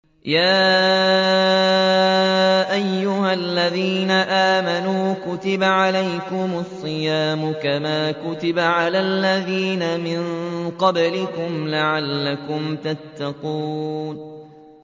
يَا أَيُّهَا الَّذِينَ آمَنُوا كُتِبَ عَلَيْكُمُ الصِّيَامُ كَمَا كُتِبَ عَلَى الَّذِينَ مِن قَبْلِكُمْ لَعَلَّكُمْ تَتَّقُونَ